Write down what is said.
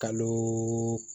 Kalo